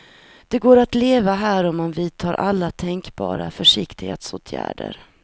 Det går att leva här om man vidtar alla tänkbara försiktighetsåtgärder.